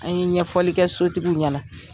An ye ɲɛfɔli kɛ sotigiw ɲɛna.